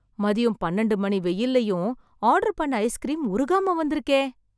மதியம் பன்னிரண்டு மணி வெயில்லயும் ஆர்டர் பண்ண ஐஸ்கிரீம் உருகாம வந்திருக்கே